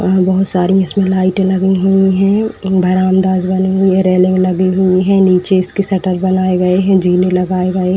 वहाँ बहोत सारी इसमें लाईटें लगी हुई हैं। म्म बरामदाज बने हुए रेलिंग लगी हुई हैं। नीचे इसके शटर बनाए गए हैं। जीने लगाए गए --